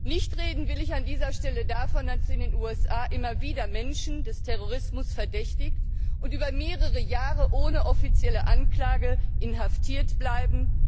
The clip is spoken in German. Nicht reden will ich an dieser Stelle davon, dass in den USA immer wieder Menschen des Terrorismus verdächtigt werden und über mehrere Jahre ohne offizielle Anklage inhaftiert bleiben.